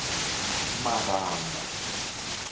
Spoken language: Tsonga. marhanga